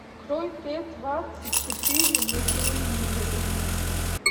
открой т двадцать четыре на телевизоре